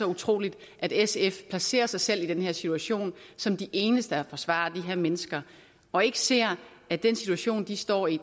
utroligt at sf placerer sig selv i den her situation som de eneste der forsvarer de her mennesker og ikke ser at den situation de står i